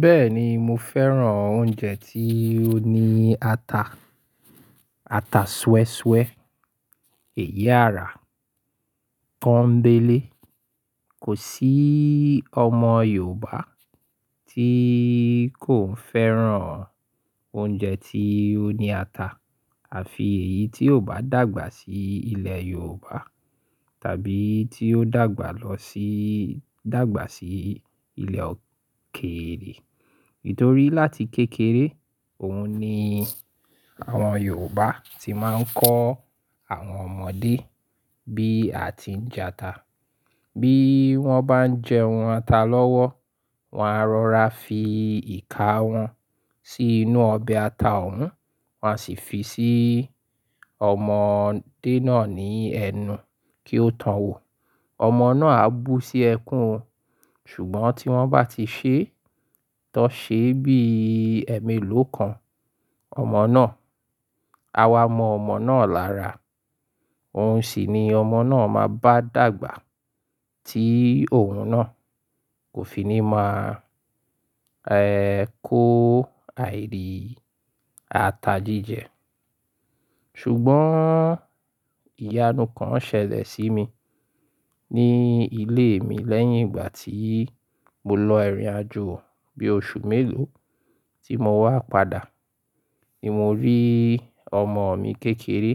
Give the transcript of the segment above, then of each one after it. Bẹ́ẹ̀ni, mo fẹ́ràn oúnjẹ tí ó ní ata, ata súwẹ́súwẹ́, èyi ara, kọ́ńbẹ̀lẹ̀. Kò sí ọmọ Yorùbá tí kò fẹ́ràn oúnjẹ tí ó ní ata àfi èyí tí ò bá dàgbà sí ilẹ̀ Yorùbá tàbí tí ó dàgbà lọ sí, dàgbà sí ilẹ̀ òkèrè. Nítorí láti kékeré, òun ni àwọn Yorùbá tí máa ń kọ́ àwọn ọmọdé bí a ti ń jẹ ata. Bí wọ́n bá ń jẹ ohun ata lọ́wọ́, wọ́n á rọra fi ìka wọn sí inú ọbẹ̀ ata òun, wọ́n a sì fi sí ọmọdé náà ní ẹnu kí ó to wò. Ọmọ náà á bú sí ẹkún o, ṣùgbọ́n tí wọ́n bá ti ṣe é, tọ́ ṣe bí ẹ̀mí ló kan ọmọ náà. A wá mọ ọmọ náà lára. Òun sì ni ọmọ náà máa bá dàgbà tí òun náà kò fi ní máa, ẹ́, kó àìdí ata jíjẹ. Ṣùgbọ́n ìyanu kan ṣẹlẹ̀ sí mi ní ilé mi lẹ́yìn ìgbà tí mo lọ ìrìnàjò bí oṣù mélòó tí mo wá padà. Mo rí ọmọ mi kékeré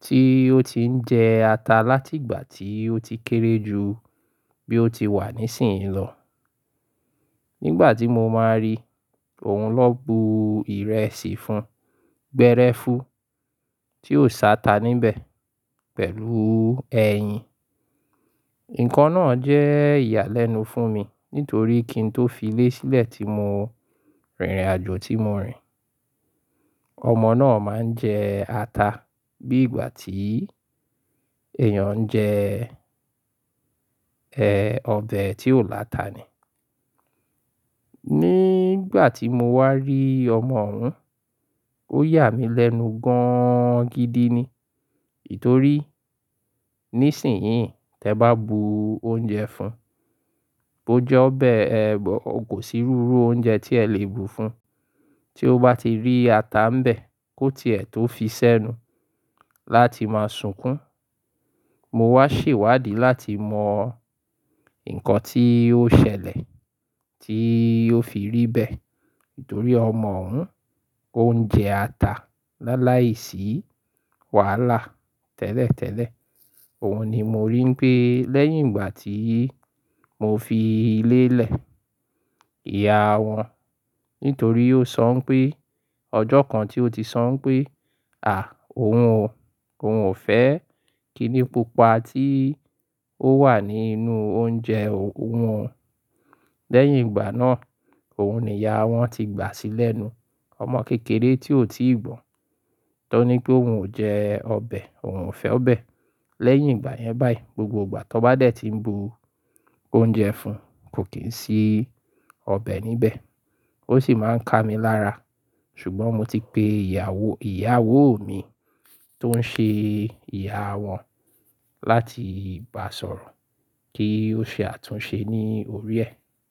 tí ó ti ń jẹ ata láti ìgbà tí ó ti kéré ju bí ó ti wà nísinsìnyí lọ. Nígbà tí mo máa rí òun lọ bu ìrẹsì fún, gbẹ́rẹ́fu tí ò sá ata níbẹ̀ pẹ̀lú ẹyin. Nǹkan náà jẹ́ ìyàlẹ́nu fún mi nítorí kí n tó fi ilé sílẹ̀ tí mo rìnrìnàjò tí mo rìn, ọmọ náà máa ń jẹ ata bí ìgbà tí èèyàn ń jẹ, ẹ́, ọbẹ̀ tí ò láta ni. Nígbà tí mo wá rí ọmọ òun, ó yà mí lẹ́nu gan gidi ni. Nítorí nísinsìnyí, tí ẹ bá bu oúnjẹ fún, bó jẹ́ ọbẹ̀, ẹ́, kò sí rúru oúnjẹ tí ẹ le bu fún tí ó bá ti rí ata ń bẹ̀ kó tí ẹ tó fi sẹ́nu láti máa sunkún. Mo wá ṣèwádìí láti mọ nǹkan tí ó ṣẹlẹ̀, tí ó fi rí bẹ̀. Nítorí ọmọ òun, ó ń jẹ ata láláìsí wàhálà tẹ́lẹ̀tẹ́lẹ̀. Òun ni mo rí pé lẹ́yìn ìgbà tí mo fi ilé lẹ̀, ìyá wọn, nítorí ó sọ pé ọjọ́ kan tí ó ti sọ pé, "à, òun ò, òun ò fẹ́" kí ni pupa tí ó wà nínú oúnjẹ òun. Lẹ́yìn ìgbà náà, òun ni ìyá wọn ti gbà sílẹ̀ nu. Ọmọ kékeré tí ò tíì gbọ́n, tó ní pé òun ò jẹ ọbẹ̀, òun ò fẹ́ ọbẹ̀. Lẹ́yìn ìgbà yẹn báyìí, gbogbo ìgbà tí wọ́n bá dẹ̀ tí ń bu oúnjẹ fún, kò kín sí ọbẹ̀ níbẹ̀. Ó sì máa ń ká mi lára. Ṣùgbọ́n mo ti pe ìyàwó, ìyàwó mi tó ń ṣe ìyá wọn láti bá sọ̀rọ̀ kí ó ṣe àtúnṣe ní orí ẹ.